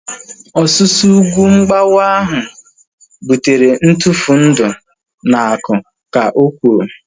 Ọsusu ugwu mgbawa ahu butere ntufu ndị na aku, ka o kwuru